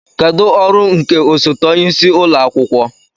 Kedu ọrụ nke osote onye isi ụlọ akwụkwọ